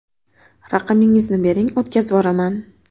Raqamingizni bering, o‘tkazvoraman.